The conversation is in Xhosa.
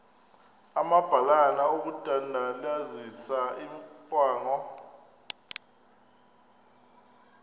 amabalana okudandalazisa imicamango